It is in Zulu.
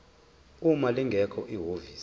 uma lingekho ihhovisi